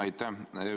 Aitäh!